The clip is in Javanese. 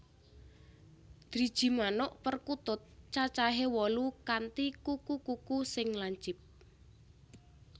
Driji manuk perkutut cacahé wolu kanthi kuku kuku sing lancip